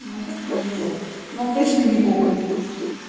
но как бы вот но он точно не гоблин